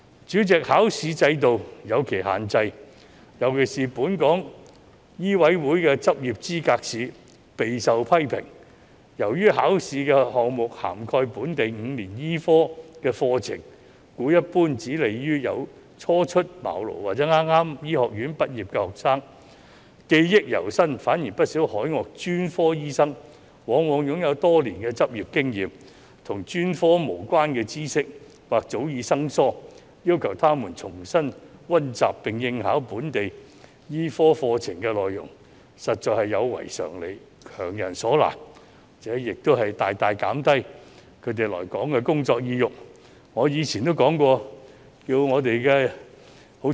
主席，考試制度有其限制，特別是本港醫務委員會的執業資格試備受批評，由於考試項目涵蓋本地5年醫科課程，故一般只有利於初出茅廬或是剛於醫學院畢業的學生，因為他們記憶猶新，反而不少海外專科醫生往往擁有多年執業經驗，但與專科無關的知識或許早已生疏，要求他們重新溫習並應考本地醫科課程內容實在有違常理，強人所難，而且亦大大減低他們來港工作的意欲。